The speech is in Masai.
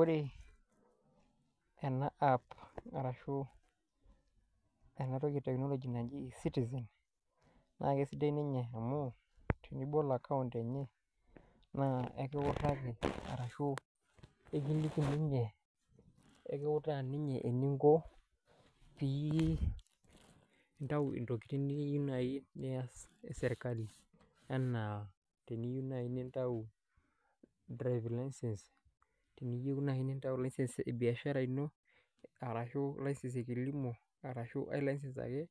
Ore ena app arashu ena teknoloji naji eCitizen naa kesidai ninye amu enibol account enye naa ekiutaa ninye eninko pintau ntokitin naai niyieu e sirkali enaa teniyieu naai nintau license e biashara ino arashu license e kilimo arashu license nkae ake